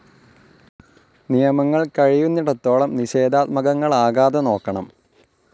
നിയമങ്ങൾ കഴിയുന്നിടത്തോളം നിഷേധാത്മകങ്ങളാക്കാതെ നോക്കണം.